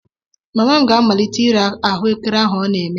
Mama m ga-amalite ire ahu ekere ọ na-eme